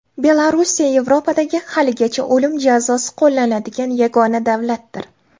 Belorussiya Yevropadagi haligacha o‘lim jazosi qo‘llaniladigan yagona davlatdir.